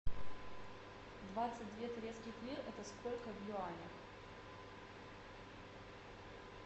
двадцать две турецких лир это сколько в юанях